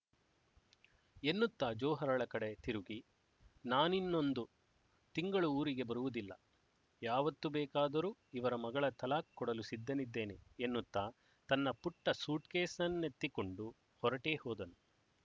ಎನ್ನುತ್ತಾ ಜೊಹರಳ ಕಡೆ ತಿರುಗಿ ನಾನಿನ್ನೊಂದು ತಿಂಗಳು ಊರಿಗೆ ಬರುವುದಿಲ್ಲ ಯಾವತ್ತು ಬೇಕಾದರೂ ಇವರ ಮಗಳ ತಲಾಖ್ ಕೊಡಲು ಸಿದ್ಧನಿದ್ದೇನೆ ಎನ್ನುತ್ತಾ ತನ್ನ ಪುಟ್ಟ ಸೂಟ್ ಕೇಸನ್ನೆತ್ತಿಕೊಂಡು ಹೊರಟೇ ಹೋದನು